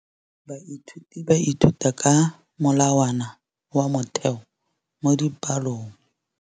Baithuti ba ithuta ka molawana wa motheo mo dipalong.